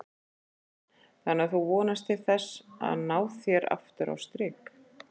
Karen: Þannig að þú vonast til þess að ná þér aftur á strik?